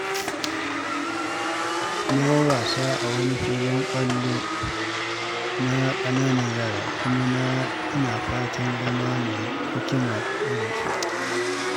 Na yi wasa a wani filin ƙwallo na ƙananan yara, kuma ina fatan zama mai hikima irin su.